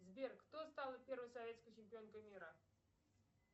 сбер кто стала первой советской чемпионкой мира